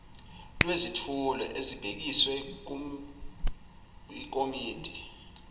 lwezethulo ezibhekiswe kwikomidi